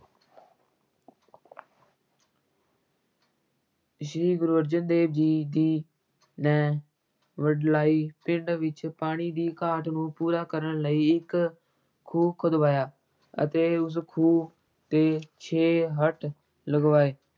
ਸ੍ਰੀ ਗੁਰੂ ਅਰਜਨ ਦੇਵ ਜੀ ਦੀ ਨੇ ਵਡਲਾਈ ਪਿੰਡ ਵਿੱਚ ਪਾਣੀ ਦੀ ਘਾਟ ਨੂੰ ਪੂਰਾ ਕਰਨ ਲਈ ਇੱਕ ਖੂਹ ਖੁਦਵਾਇਆ ਅਤੇ ਉਸ ਖੂਹ ’ਤੇ ਛੇ ਹਰਟ ਲਗਵਾਏ।